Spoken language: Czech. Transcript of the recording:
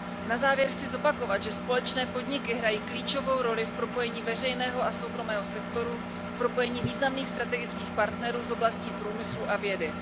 Na závěr chci zopakovat, že společné podniky hrají klíčovou roli v propojení veřejného a soukromého sektoru, v propojení významných strategických partnerů z oblastí průmyslu a vědy.